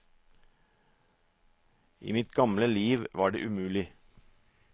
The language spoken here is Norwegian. I mitt gamle liv var det umulig.